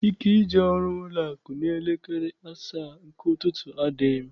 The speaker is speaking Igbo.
Ike ije ọrụ n'ụlọakụ n'elekere asaa nke ụtụtụ, adịghị m.